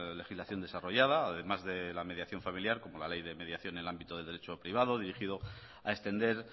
legislación desarrollada además de la mediación familiar como la ley de mediación en el ámbito del derecho privado dirigido a extender